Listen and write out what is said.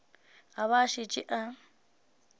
a ba a šetše a